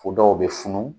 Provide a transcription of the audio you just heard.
O dɔw bɛ funu